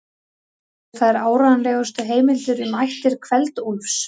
Teljast þær áreiðanlegustu heimildir um ættir Kveld-Úlfs.